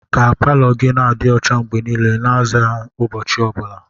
Ka palọ gị na-adị ọcha mgbe niile, na-aza ụbọchị ọ bụla.